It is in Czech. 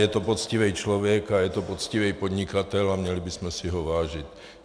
Je to poctivý člověk a je to poctivý podnikatel a měli bychom si ho vážit.